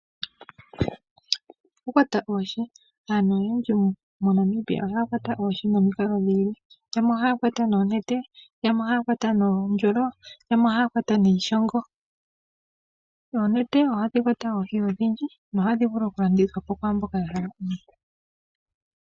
Okukwata oohi aantu oyendji moNamibia ohaa kwata oohi nomikalo dhi ili yamwe ohaa kwata noonete yamwe ohaa kwata noondjolo yamwe ohaa kwata niishongo, oonete ohadhi kwata oohi odhindji nohadhi vulu oku ka landithwa po kwaamboka ya hala oohi.